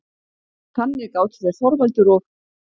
Þannig gátu þeir Þorvaldur og